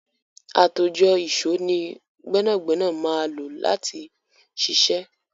Àtòjọ ìṣó ni gbẹ́nàgbẹ́nà máa lò láti ṣiṣẹ́.